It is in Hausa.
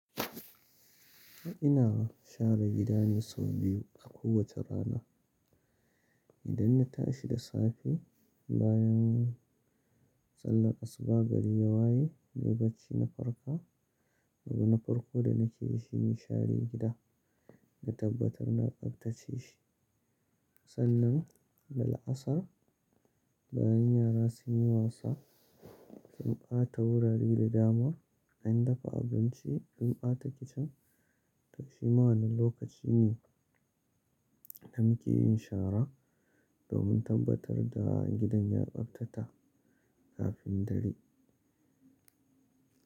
Ina share gidana sau biyu a kowace rana. Idan na tashi da safe bayan sallar asuba, gari ya waye nai bacci na farka. Abu na farko da nake yi shine share gida, na tabbatar na tsaftace shi. Sannan, la'asar bayan yara sun yi wasa, sun ɓa ta wurari da dama, in dafa abinci, an ɓa ta kicin. To shi ma wani lokaci ne na muke yin shara domin tabbatar da gidan ya tsaftata kafin dare.